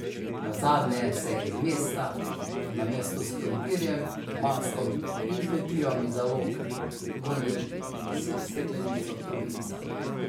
Nazadnje se je iz mesta namesto s krompirjem, maslom in tetivami za lok vrnil s steklenico tropinca.